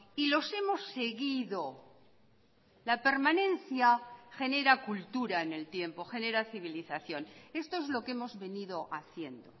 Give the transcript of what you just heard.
y los hemos seguido la permanencia genera cultura en el tiempo genera civilización esto es lo que hemos venido haciendo